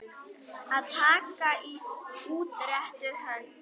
Að taka í útrétta hönd